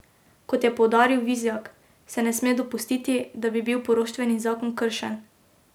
Kot je poudaril Vizjak, se ne sme dopustiti, da bi bil poroštveni zakon kršen.